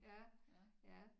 Ja ja